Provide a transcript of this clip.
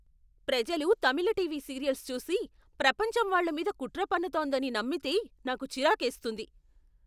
ప్రజలు Tamil TV serials చూసి, ప్రపంచం వాళ్ళ మీద కుట్ర పన్నుతోందని నమ్మితే నాకు చిరాకేస్తుంది.